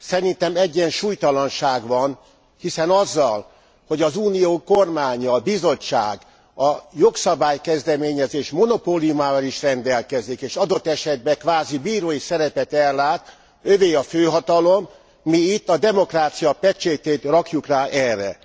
Szerintem egyensúlytalanság van, hiszen azzal, hogy az Unió kormánya, a Bizottság a jogszabály kezdeményezés monopóliumával is rendelkezik és adott esetben kvázi bírói szerepet ellát, övé a főhatalom, mi itt a demokrácia pecsétjét rakjuk rá erre.